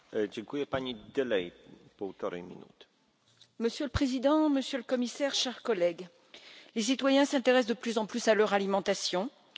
Monsieur le Président, Monsieur le Commissaire, chers collègues, les citoyens s'intéressent de plus en plus à leur alimentation et cherchent à savoir comment le système européen fonctionne.